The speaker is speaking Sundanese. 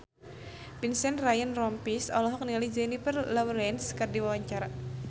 Vincent Ryan Rompies olohok ningali Jennifer Lawrence keur diwawancara